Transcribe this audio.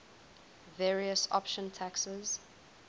various option taxes